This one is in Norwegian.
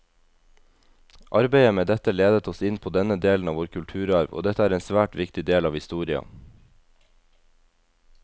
Arbeidet med dette ledet oss inn på denne delen av vår kulturarv, og dette er en svært viktig del av historia.